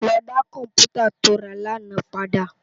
Lò dá kòmpútá tó rá làná pàdá